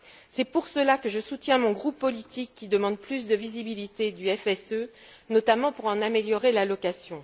C'est pour cela que je soutiens mon groupe politique qui demande plus de visibilité du FSE, notamment pour en améliorer l'allocation.